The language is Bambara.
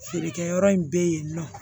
Feerekɛyɔrɔ in bɛ yen nɔ